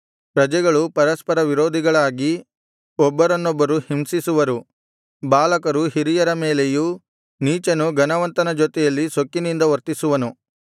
ಪ್ರಜೆಗಳು ಪರಸ್ಪರ ವಿರೋಧಿಗಳಾಗಿ ಒಬ್ಬರನೊಬ್ಬರು ಹಿಂಸಿಸುವರು ಬಾಲಕರು ಹಿರಿಯರ ಮೇಲೆಯೂ ನೀಚನು ಘನವಂತನ ಜೊತೆಯಲ್ಲಿ ಸೊಕ್ಕಿನಿಂದ ವರ್ತಿಸುವರು